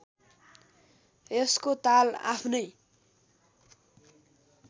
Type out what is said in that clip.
यसको ताल आफ्नै